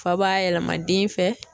Fa b'a yɛlɛma den fɛ.